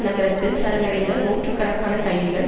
நகரத்தில் சரணடைந்த நூற்று கணக்கான கைதிகள்